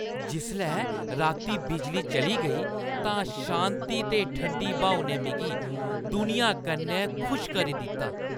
जिसलै राती बिजली चली गेई, तां शांति ते ठंडी ब्हाऊ ने मिगी दुनिया कन्नै खुश करी दित्ता।